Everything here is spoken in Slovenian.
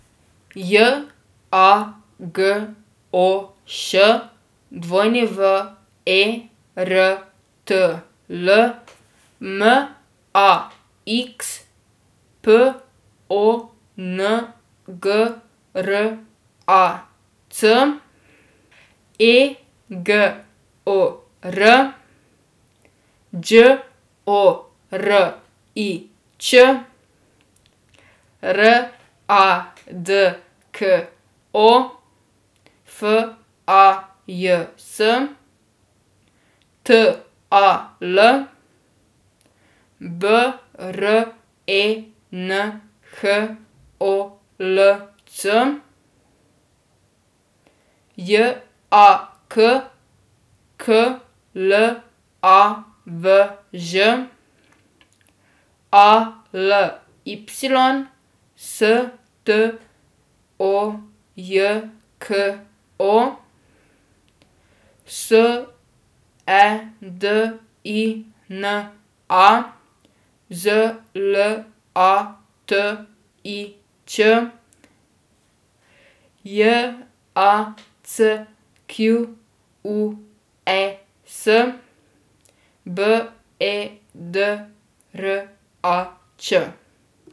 J A G O Š, W E R T L; M A X, P O N G R A C; E G O R, Đ O R I Ć; R A D K O, F A J S; T A L, B R E N H O L C; J A K, K L A V Ž; A L Y, S T O J K O; S E D I N A, Z L A T I Ć; J A C Q U E S, B E D R A Č.